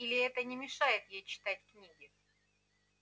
или это не мешает ей читать книги